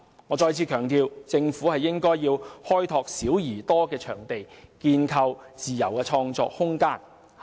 我再次強調，政府應該開拓"小而多"的場地，建構自由的創作空間。